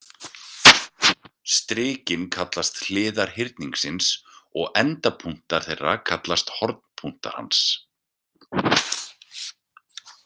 Strikin kallast hliðar hyrningsins og endapunktar þeirra kallast hornpunktar hans.